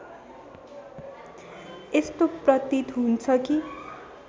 यस्तो प्रतीत हुन्छ कि